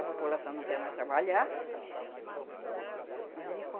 A população não quer mais trabalhar, mas ele come.